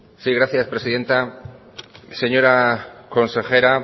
sí gracias presidenta señora consejera